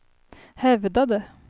hävdade